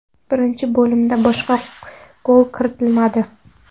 Birinchi bo‘limda boshqa gol kiritilmadi.